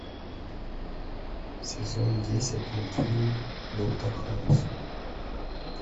сезон десять мультфильм доктор хаус